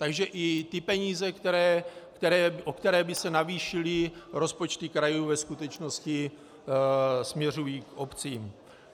Takže i ty peníze, o které by se navýšily rozpočty krajů, ve skutečnosti směřují k obcím.